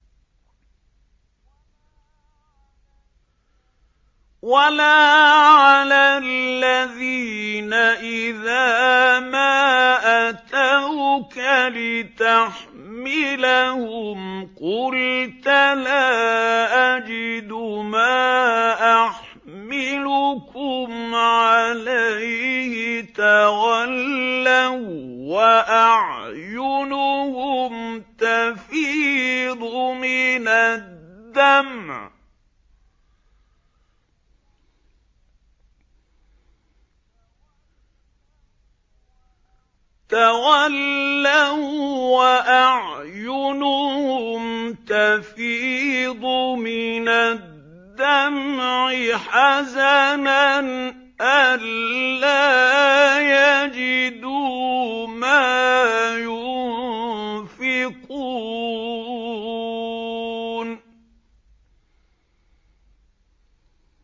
وَلَا عَلَى الَّذِينَ إِذَا مَا أَتَوْكَ لِتَحْمِلَهُمْ قُلْتَ لَا أَجِدُ مَا أَحْمِلُكُمْ عَلَيْهِ تَوَلَّوا وَّأَعْيُنُهُمْ تَفِيضُ مِنَ الدَّمْعِ حَزَنًا أَلَّا يَجِدُوا مَا يُنفِقُونَ